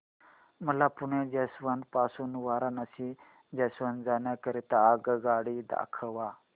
मला पुणे जंक्शन पासून वाराणसी जंक्शन जाण्या करीता आगगाडी दाखवा